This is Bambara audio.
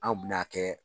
Anw bɛna kɛ